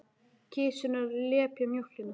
Kisurnar lepja mjólkina.